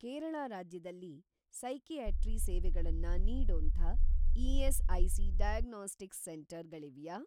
ಕೇರಳ ರಾಜ್ಯದಲ್ಲಿ ಸೈಕಿಯಾಟ್ರಿ ಸೇವೆಗಳನ್ನ ನೀಡೋಂಥ ಇ.ಎಸ್.ಐ.ಸಿ. Diagnostics centre ಗಳಿವ್ಯಾ?